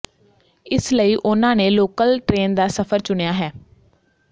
ਇਸ ਲਈ ਉਨ੍ਹਾਂ ਨੇ ਲੋਕਲ ਟ੍ਰੇਨ ਦਾ ਸਫਰ ਚੁਣਿਆ ਹੈ